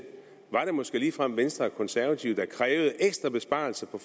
var det måske ligefrem venstre og konservative der krævede ekstra besparelser på